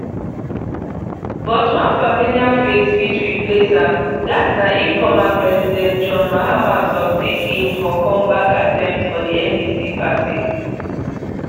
but one familiar face fit replace am dat na if former president john mahama succeed in for comeback attempt for di ndc party